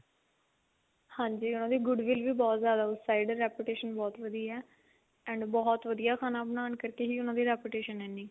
ਹਾਂਜੀ ਉਹਨਾ di goodwill ਵੀ ਵਹੁਟ ਜਿਆਦਾ ਵਧੀਆ reputation ਬਹੁਤ ਵਧੀਆ and ਬਹੁਤ ਵਧੀਆ ਖਾਣਾ ਬਣਾਉਣ ਕਰਕੇ ਹੀ ਉਹਨਾ ਦੀ reputation ਹੈ ਇੰਨੀ